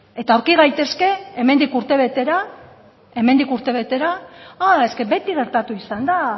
eta aurki gaitezke hemendik urtebetera ah beti gertatu izan da